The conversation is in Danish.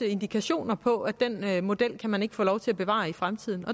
indikationer på at den model kan man ikke få lov til at bevare i fremtiden